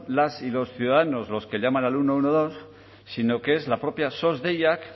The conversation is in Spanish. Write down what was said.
las y los ciudadanos los que llaman al ciento doce sino que es la propia sos deiak